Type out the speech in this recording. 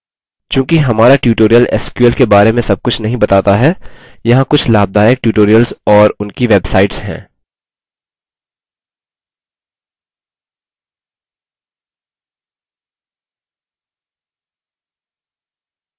चूँकि हमारा tutorial sql के बारे में सबकुछ नहीं बताता है यहाँ कुछ लाभदायक tutorials और उनकी websites हैं